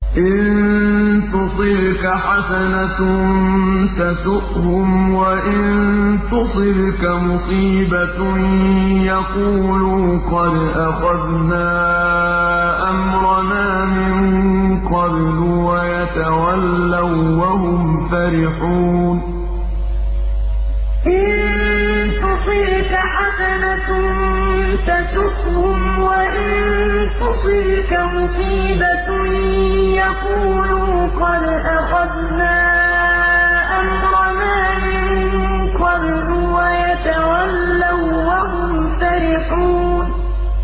إِن تُصِبْكَ حَسَنَةٌ تَسُؤْهُمْ ۖ وَإِن تُصِبْكَ مُصِيبَةٌ يَقُولُوا قَدْ أَخَذْنَا أَمْرَنَا مِن قَبْلُ وَيَتَوَلَّوا وَّهُمْ فَرِحُونَ إِن تُصِبْكَ حَسَنَةٌ تَسُؤْهُمْ ۖ وَإِن تُصِبْكَ مُصِيبَةٌ يَقُولُوا قَدْ أَخَذْنَا أَمْرَنَا مِن قَبْلُ وَيَتَوَلَّوا وَّهُمْ فَرِحُونَ